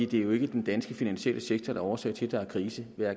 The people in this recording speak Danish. det er jo ikke den danske finansielle sektor der er årsag til at der er krise